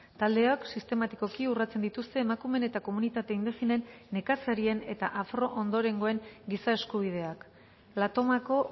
taldeok sistematikoki urratzen dituzte emakume eta komunitate indigenen nekazarien eta afro ondorengoen giza eskubideak la tomako